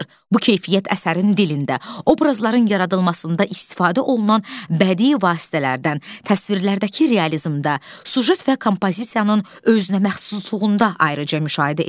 Bu keyfiyyət əsərin dilində, obrazların yaradılmasında istifadə olunan bədii vasitələrdən, təsvirlərdəki realizmdə, süjet və kompozisiyanın özünəməxsusluğunda ayrıca müşahidə edilir.